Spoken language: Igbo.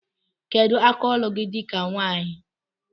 Kedu aka ọlụ gi di ka nwanyi?